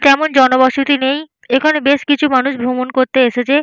তেমন জনবসতি নেইএখানে বেশ কিছু মানুষ ভ্রমণ করতে এসেছে।